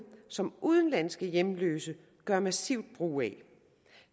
som udenlandske hjemløse gør massivt brug af